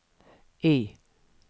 Y